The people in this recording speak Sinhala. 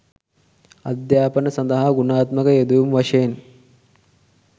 අධ්‍යාපන සඳහා ගුණාත්මක යෙදවුම් වශයෙන්